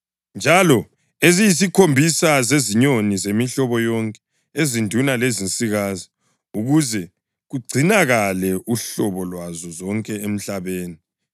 njalo eziyisikhombisa zezinyoni zemihlobo yonke, ezinduna lezinsikazi, ukuze kugcinakale uhlobo lwazo zonke emhlabeni.